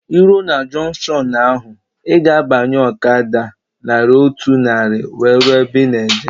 Ị rue na junkshọnu ahụ, ị ga-abanye ọkada naira otu narị wee rue ebe ị na-eje